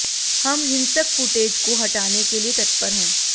हम हिंसक फुटेज को हटाने के लिए तत्पर हैं